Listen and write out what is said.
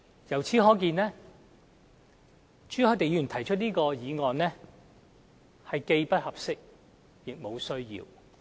由此可見，朱凱廸議員提出的議案既不合適，亦無需要。